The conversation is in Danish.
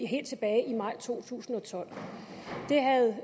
helt tilbage i maj to tusind og tolv det havde